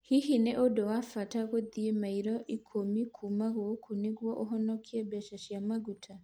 Hihi nĩ ũndũ wa bata gũthiĩ maili ikũmi kuuma gũkũ nĩguo ũhonokie mbeca cia maguta